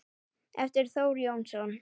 eftir Þórð Jónsson